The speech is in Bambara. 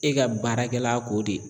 E ka baarakɛla ko de.